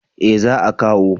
Eh za a kawo